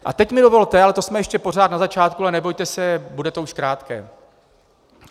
A teď mi dovolte - ale to jsme ještě pořád na začátku, ale nebojte se, bude to už krátké.